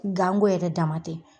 Gan go yɛrɛ dama tɛ